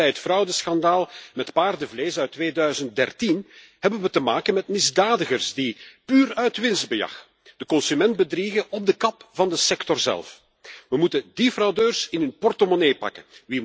Net zoals bij het fraudeschandaal met paardenvlees uit 2013 hebben we te maken met misdadigers die puur uit winstbejag de consument bedriegen op de kap van de sector zelf. We moeten die fraudeurs in hun portemonnee pakken.